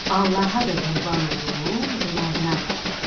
Allaha da qurban olum, qonağına da.